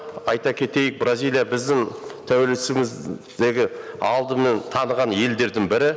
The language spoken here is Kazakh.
айта кетейік бразилия біздің алдымен таныған елдердің бірі